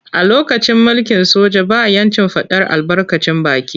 A lokacin mulkin soja ba ‘yancin fadar albarkacin baki.